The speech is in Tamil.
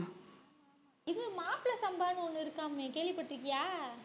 இது மாப்பிளை சம்பான்னு ஒண்ணு இருக்காமே கேள்விப்பட்டிருக்கியா